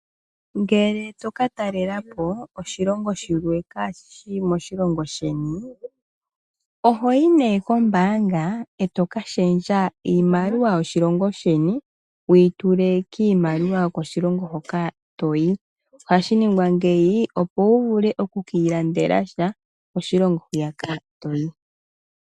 Ngele toka talela po oshilongo shilwe kaashishi moshilongo sheni ohoyi nee kombaanga eto ka shendja iimaliwa yoshilongo sheni wuyi tule kiimaliwa yokoshilongo hoka toyi. Ohashi ningwa ngeyi opo wuvule okukiilandela sha koshilongo hwiyaka toyi.